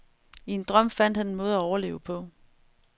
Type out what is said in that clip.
I en drøm fandt han en måde at overleve på.